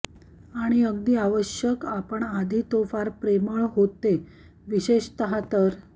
आणि अगदी आवश्यक आपण आधी तो फार प्रेमळ होते विशेषतः तर